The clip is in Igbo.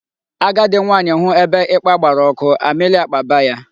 Agadi nwaanyị hụ ebe ịkpa gbara ọkụ, amịlị akpaba ya.